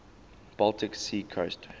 baltic sea coast